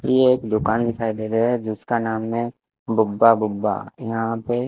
ये एक दुकान दिखाई दे रहे है जिसका नाम है गुब्बा गुब्बा यहा पे--